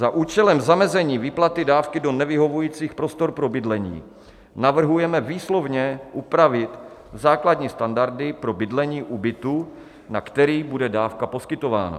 Za účelem zamezení výplaty dávky do nevyhovujících prostor pro bydlení navrhujeme výslovně upravit základní standardy pro bydlení u bytu, na který bude dávka poskytována.